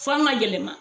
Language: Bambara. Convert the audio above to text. F'an ka yɛlɛma